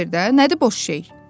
Cavab ver də, nədir boş şey?